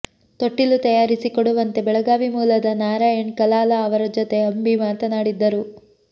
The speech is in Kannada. ತೊಟ್ಟಿಲು ತಯಾರಿಸಿ ಕೊಡುವಂತೆ ಬೆಳಗಾವಿ ಮೂಲದ ನಾರಾಯಣ್ ಕಲಾಲ ಅವರ ಜೊತೆ ಅಂಬಿ ಮಾತನಾಡಿದ್ದರು